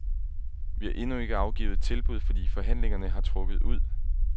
Vi har endnu ikke afgivet et tilbud, fordi forhandlingerne har trukket ud.